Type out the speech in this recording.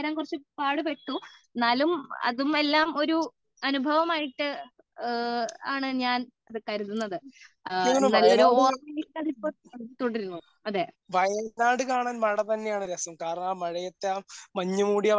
പാട് പെട്ടു എന്നാലും അതും എല്ലാം ഒരു അനുഭവം ആയിട്ട് ആണ് ഞാൻ കരുതുന്നത് നല്ലൊരു ഓർമ്മയായിട്ട് ഇപ്പോഴും തുടരുന്നു